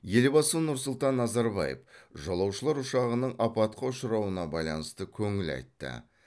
елбасы нұрсұлтан назарбаев жолаушылар ұшағының апатқа ұшырауына байланысты көңіл айтты